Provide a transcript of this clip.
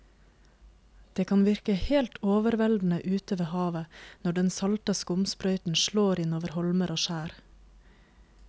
Det kan virke helt overveldende ute ved havet når den salte skumsprøyten slår innover holmer og skjær.